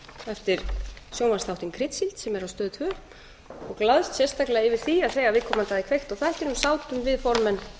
eftir sjónvarpsþáttinn kryddsíld sem er á stöð tvö og glaðst sérstaklega yfir því að þegar viðkomandi hafði kveikt á tækinu sátum við formenn